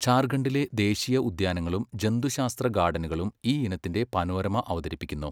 ജാർഖണ്ഡിലെ ദേശീയ ഉദ്യാനങ്ങളും ജന്തുശാസ്ത്ര ഗാർഡനുകളും ഈ ഇനത്തിന്റെ പനോരമ അവതരിപ്പിക്കുന്നു.